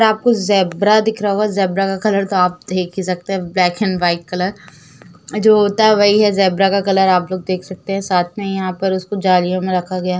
आपको ज़ेब्रा दिख रहा होगा। ज़ेब्रा का कलर कापथिक आप देख ही सकते हैं ब्लैकेन व्हाइट कलर जो होता है। वही है ज़ेब्रा का कलर आप लोग देख सकते हैं साथ में यहाँ पर उसको जालियो में रखा गया --